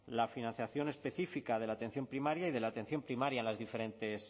la financiación específica de la atención primaria y de la atención primaria en las diferentes